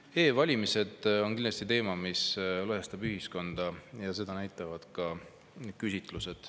E-valimised on kindlasti teema, mis lõhestab ühiskonda, ja seda näitavad ka küsitlused.